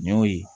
N y'o ye